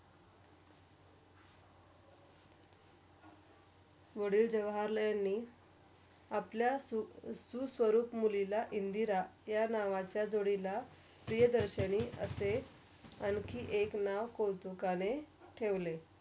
वाडिल जवाहरलाल नी अपल्या सुस्वरूप मुलीला इंदिरा या नावाच्या जोडिला प्रियदर्शनी असे आणखी एक नाव कौतुकाने ठेवले.